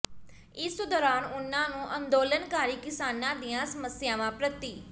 ਇਸ ਦੌਰਾਨ ਉਨ੍ਹਾਂ ਨੂੰ ਅੰਦੋਲਨਕਾਰੀ ਕਿਸਾਨਾਂ ਦੀਆਂ ਸਮੱਸਿਆਵਾਂ ਪ੍ਰਤੀ